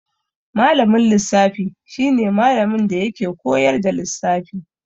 Malamin lissafi shi ne malamin da yake koyar da lissafi.